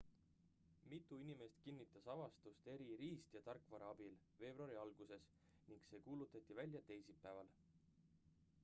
mitu inimest kinnitas avastust eri riist ja tarkvara abil veebruari alguses ning see kuulutati välja teisipäeval